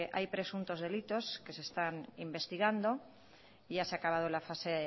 hay presuntos delitos que se están investigando ya se ha acabado la fase